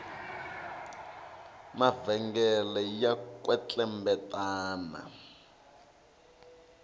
mavhengele ya kwetlembetana